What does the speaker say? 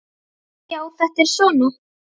Já, þetta er svona.